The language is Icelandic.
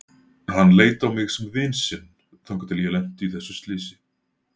Hann leit á mig sem vin sinn þangað til ég lenti í þessu slysi.